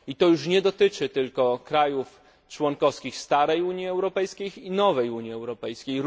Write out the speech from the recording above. I nie dotyczy to tylko krajów członkowskich starej Unii Europejskiej, ale i nowej Unii Europejskiej.